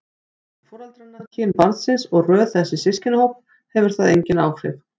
Aldur foreldranna, kyn barnsins eða röð þess í systkinahóp hefur þar engin áhrif.